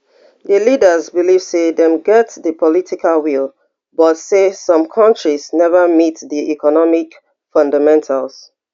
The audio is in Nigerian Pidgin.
di leaders believe say dem get di political will but say some kontris neva meet di economic fundamentals